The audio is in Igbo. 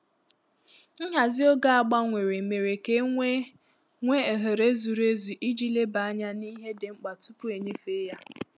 Nhazi oge a gbanwere mere ka e nwee nwee ohere zuru ezu iji leba anya n’ihe dị mkpa tupu e nyefee ya